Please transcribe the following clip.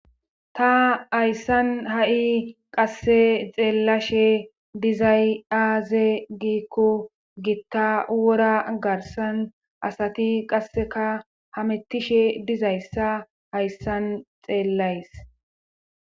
Ta hayssan ha7i qasse xeellashe dizay aaze giikko gitta wora garsan asati qasseka hamettishe dizayssa hayssan xeellays.